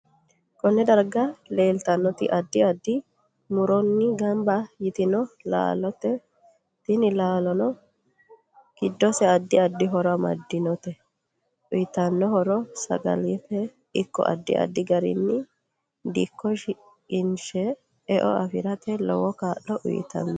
KOnne darga leeltanoto addi addi muronni ganbba yitinno laalooti tini laalonno giddose addi addi horo amadinote uyiitanno horo sagalimate ikko addi addi garinni dikko shiqinshe e'o afirate lowo kaa'lo uyiitanno